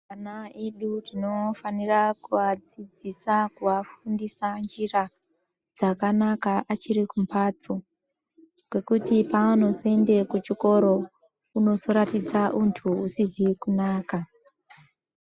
Ana edu tinofanira kuvadzidzisa kuvafundisa njira dzakanaka achiri kumbatso, Ngokuti paanozoende kuchikoro unozoratidza untu usizi kunaka.